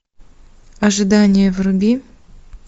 ожидание вруби